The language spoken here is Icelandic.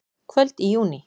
Kvöld í júní.